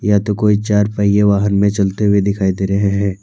यह तो कोई चार पहिए वाहन में चलते हुए दिखाई दे रहे हैं।